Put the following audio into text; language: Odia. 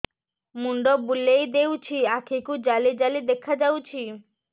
ମୁଣ୍ଡ ବୁଲେଇ ଦେଉଛି ଆଖି କୁ ଜାଲି ଜାଲି ଦେଖା ଯାଉଛି